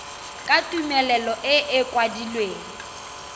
ka tumelelo e e kwadilweng